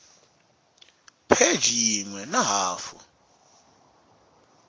pheji yin we na hafu